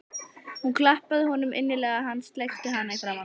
Hún klappaði honum innilega og hann sleikti hana í framan.